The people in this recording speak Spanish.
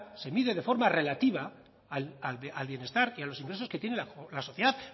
se mide de forma relativa al bienestar y a los ingresos que tiene la sociedad